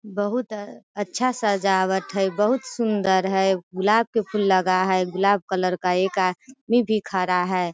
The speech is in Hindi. बहुत अ अच्छा सजावट है। बहुत सुन्दर है। गुलाब का फूल लगा है। गुलाब कलर का एक आदमी भी खड़ा है।